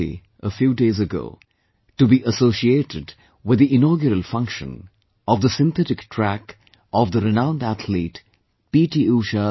I had the opportunity, a few days ago to be associated with the inaugural function of the Synthetic Track of the renowned athlete, P